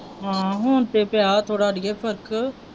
ਹਾਂ ਹੁਣ ਤੇ ਪਿਆ ਥੋੜਾ ਅੜੀਏ ਫ਼ਰਕ।